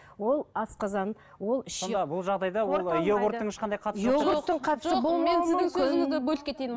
ол асқазан ол ішек